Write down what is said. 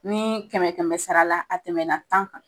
Nii kɛmɛ kɛmɛ sara la a tɛmɛna tan kan